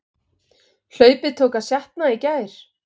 Hlaupið tók að sjatna í gær